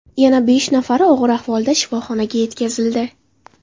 Yana besh nafari og‘ir ahvolda shifoxonaga yetkazildi.